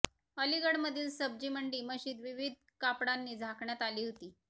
अलिगढमधील सब्जी मंडी मशिद विविध कापडांनी झाकण्यात आली होती